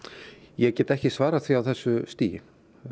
ég get ekki svarað því á þessu stigi